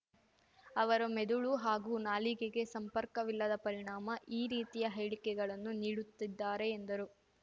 ಅವರ ಮೆದುಳು ಹಾಗೂ ನಾಲಿಗೆಗೆ ಸಂಪರ್ಕವಿಲ್ಲದ ಪರಿಣಾಮ ಈ ರೀತಿಯ ಹೇಳಿಕೆಗಳನ್ನು ನೀಡುತ್ತಿದ್ದಾರೆ ಎಂದರು